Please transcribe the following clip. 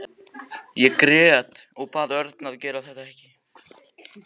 Ég grét og bað Örn að gera þetta ekki.